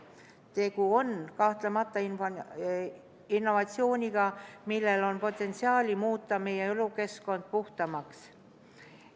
Tegu on kahtlemata innovatsiooniga, millel on potentsiaali muuta meie elukeskkond puhtamaks.